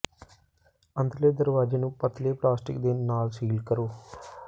ਅੰਦਰਲੇ ਦਰਵਾਜ਼ੇ ਨੂੰ ਪਤਲੇ ਪਲਾਸਟਿਕ ਦੇ ਨਾਲ ਸੀਲ ਕਰੋ